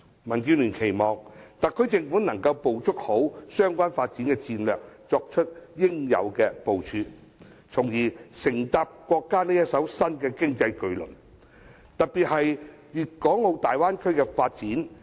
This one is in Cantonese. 民建聯期望特區政府可以好好掌握相關發展戰略，作出應有部署，從而乘搭國家這艘新經濟巨輪，特別是大灣區的發展。